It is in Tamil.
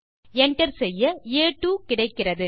enter செய்ய ஆ2 கிடைக்கிறது